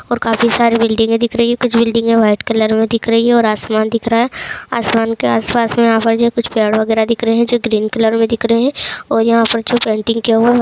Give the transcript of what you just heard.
ऊपर काफी सारे बिल्डिंगे दिख रही हैं और कुछ बिल्डिंगें वाइट कलर में दिख रही हैं और आसमान दिख रहा है। आसमान के आस-पास में यहाँ पर जो कुछ पेड़ वगेरा दिख रहे हैं जो ग्रीन कलर में दिख रहे हैं और यहाँ पर कुछ पेंटिंग किये हुआ --